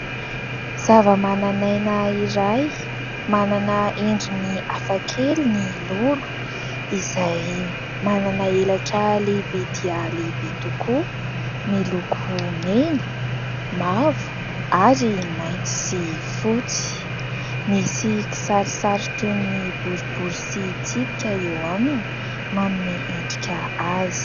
Zava-manan'aina iray manana endriny hafakely ny lolo izay manana elatra lehibe dia lehibe tokoa miloko mena, mavo ary mainty sy fotsy. Misy kisarisary toy ny boribory sy tsipika eo aminy manome endrika azy